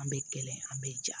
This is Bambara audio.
An bɛ kelen an bɛ ja